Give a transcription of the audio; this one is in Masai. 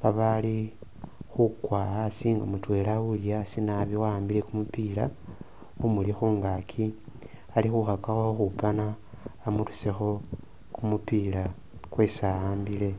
babaali khukwa asi nga mutwela uli asi naabi waambile kumupila, umuli khungaki ali khukhakakho ukhupana amurusekho kumupila kwesi awambile.